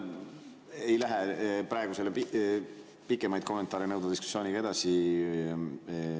Ma ei lähe praegu selle pikemaid kommentaare nõudva diskussiooniga edasi.